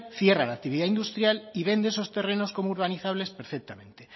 cierra la actividad industrial y vende esos terrenos como urbanizables perfectamente